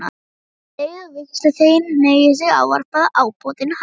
Um leið og vígsluþeginn hneigir sig ávarpar ábótinn hann